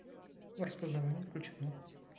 распознавание включено